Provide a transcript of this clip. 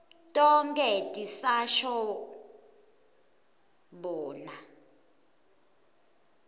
tonkhe tisasho bona